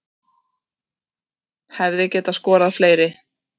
Hefði getað skorað fleiri